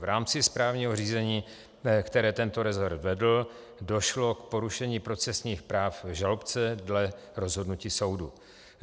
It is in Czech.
V rámci správního řízení, které tento rezort vedl, došlo k porušení procesních práv žalobce dle rozhodnutí soudu.